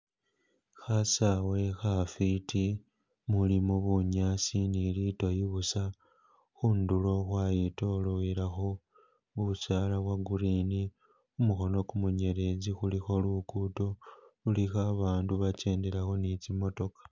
Khasaawe khafwiti umulimo bunyaasi ni lidoyi busa , khundulo khwayitololelakho busaala bwo green, khu mukhono kumunyeletsi khulikho lugudo lilikho abandu bakendelakho ne kimatokho.